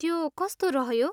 त्यो कस्तो रह्यो?